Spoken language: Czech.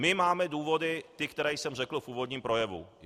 My máme důvody ty, které jsem řekl v úvodním projevu.